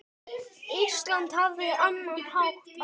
Ísland hafði annan hátt á.